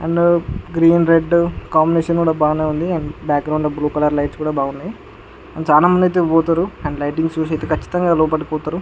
And green red combination కూడా బానే ఉంది అండ్ బాక్గ్రౌండ్ లో బ్లూ కలర్ లైట్స్ కూడా బావున్నాయ్ అండ్ చానా మంది అయితే పోతారు అండ్ లైటింగ్స్ చూసైతే కచ్చితంగా లోపలి పోతారు.